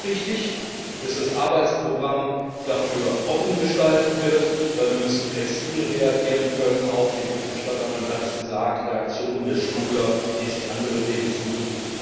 Es ist auch richtig, dass das Arbeitsprogramm dafür offen gestaltet wird, weil wir flexibel reagieren können müssen auf die Berichterstatterin hat es gesagt Reaktionen der Schmuggler, die sich andere Wege suchen.